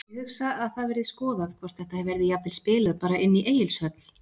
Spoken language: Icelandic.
Ég hugsa að það verði skoðað hvort þetta verði jafnvel spilað bara inni í Egilshöll.